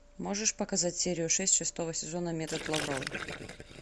можешь показать серию шесть шестого сезона метод лавровой